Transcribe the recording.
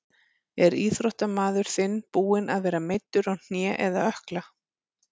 Er íþróttamaður þinn búinn að vera meiddur á hné eða ökkla?